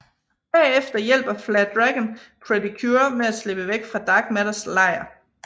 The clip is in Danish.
Bagefter hjælper Flare Dragon Pretty Cure med at slippe væk fra Dark Matters lejr